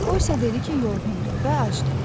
O isə dedi ki, yorğundur və acdır.